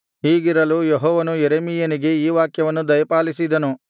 ಹೀಗಿರಲು ಯೆಹೋವನು ಯೆರೆಮೀಯನಿಗೆ ಈ ವಾಕ್ಯವನ್ನು ದಯಪಾಲಿಸಿದನು